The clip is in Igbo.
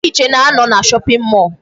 Ndị nche na-anọ na shopping mall.